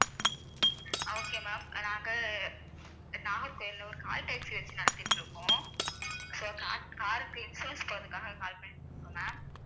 okay ma'am நாங்க நாகர்கோவில்ல ஒரு call taxi வச்சு நடத்திட்டு இருக்கோம் so ca~ car க்கு insurance போடுறதுக்காக ஒரு call பண்ணியிருக்கோம் ma'am